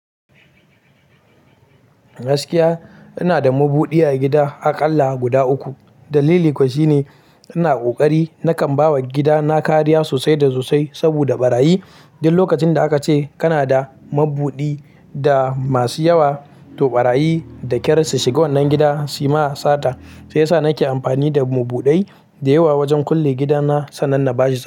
Gaskiya ina da mabuɗi a gida aƙalla guda uku. Dalili kuwa shine ina ƙoƙari nakan bawa gidana kariya sosai da sosai saboda ɓarayi. Duk lokacin da aka ce kana da mabuɗai masu yawa to ɓarayi da kyar su shiga wannan gida su ma sata. Shi ya sa nake amfani da mabuɗai da yawa wajen kulle gidana sannan na bashi sata.